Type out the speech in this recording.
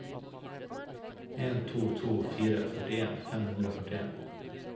en to to fire førtien fem hundre og førtien